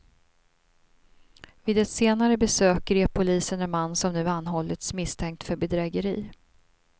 Vid ett senare besök grep polisen en man som nu anhållits misstänkt för bedrägeri.